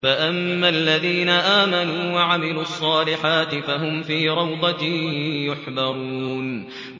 فَأَمَّا الَّذِينَ آمَنُوا وَعَمِلُوا الصَّالِحَاتِ فَهُمْ فِي رَوْضَةٍ يُحْبَرُونَ